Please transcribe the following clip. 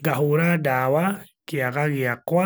ngahũra ndawa kiaga gĩakwa